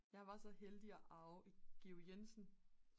jeg var så heldig at arve et Georg Jensen